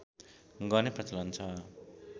गर्ने प्रचलन छ